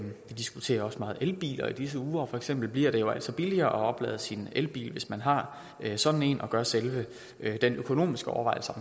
vi diskuterer også meget elbiler i disse uger og for eksempel bliver det jo altså billigere at oplade sin elbil hvis man har sådan en og gør selve den økonomiske overvejelse